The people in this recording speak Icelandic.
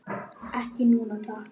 Ekki núna, takk.